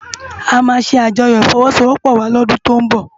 Amá sé ájòyò ifòwòsówòpò wá lòdún tó n bò